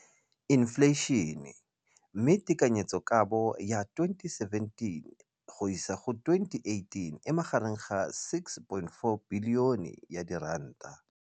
Infleišene, mme tekanyetsokabo ya 2017, 18, e magareng ga R6.4 bilione.